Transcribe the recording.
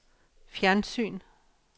fjernsyn